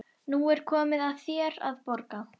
Nú er komið að þér að borga.